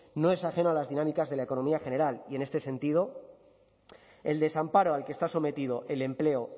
no es ajeno a las dinámicas de la economía general y en este sentido el desamparo al que está sometido el empleo